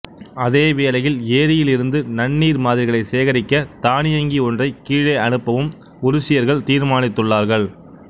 அதே வேளையில் ஏரியில் இருந்து நன்னீர் மாதிரிகளைச் சேகரிக்க தானியங்கி ஒன்றைக் கீழே அனுப்பவும் உருசியர்கள் தீர்மானித்துள்ளார்கள்